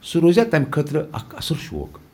سُہ روزِیا تس خٲطرٕ اکھ اصل شوق ۔